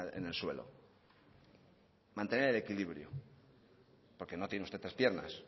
en el suelo mantener el equilibrio porque no tiene usted tres piernas